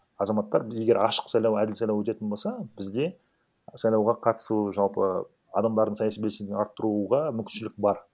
азаматтар біз егер ашық сайлау әділ сайлау өтетін болса бізде сайлауға қатысу жалпы адамдардың саяси белсенділігін арттыруға мүмкіншілік бар